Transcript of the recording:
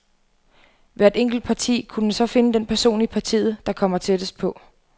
Hvert enkelt parti kunne så finde den person i partiet, der kommer tættest på.